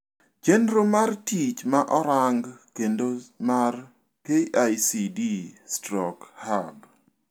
Chendro mar tich ma orang kendo mar KICD/Hub